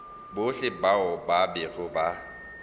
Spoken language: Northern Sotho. bohle bao ba bego ba